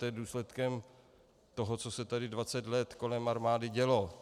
To je důsledkem toho, co se tady 20 let kolem armády dělo.